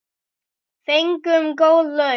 Fengum góð laun.